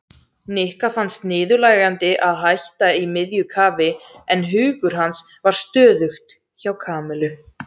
Nikka fannst niðurlægjandi að hætta í miðju kafi en hugur hans var stöðugt hjá Kamillu.